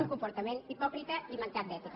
un comportament hipòcrita i mancat d’ètica